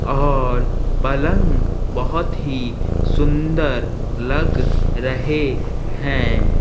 और पलंग बोहोत ही सुंदर लग रहे हैं।